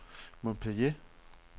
Montpellier